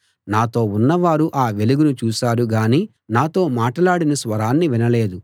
నాతో ఉన్నవారు ఆ వెలుగును చూశారుగానీ నాతో మాటలాడిన స్వరాన్ని వినలేదు